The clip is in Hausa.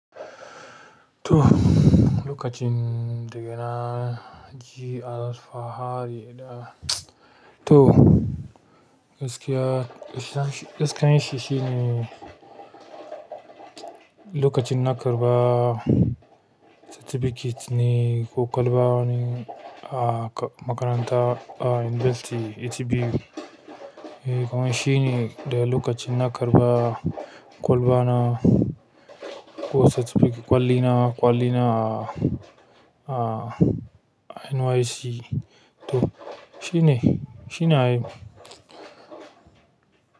To lokacin daga na ji alfahari da, to gaskiya, gaskiyan shi shine lokacin na karɓa certificate ne ko kwalba ne a makaranta a university. A.T.B.U, eh kuma shi ne da lokacin na karɓa kwalba na ko certificate kwali na, kwali na a NYSC. To shi ne, shi ne ai.